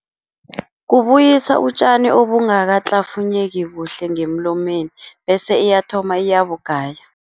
Kubuyisa utjani obungakahlafunyeki kuhle ngemlomeni bese iyathoma iyabugaya.